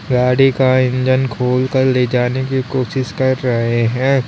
गाड़ी का इंजन खोलकर ले जाने की कोशिश कर रहे है।